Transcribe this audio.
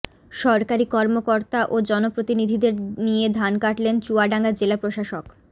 সরকারি কর্মকর্তা ও জনপ্রতিনিধিদের নিয়ে ধান কাটলেন চুয়াডাঙ্গা জেলা প্রশাসক